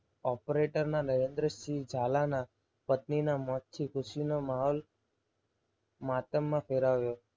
operator ના નરેન્દ્રસિંહ ઝાલા ના પત્નીના મોતથી ખુશીનો માહોલ માતમ માં ફેલાયો.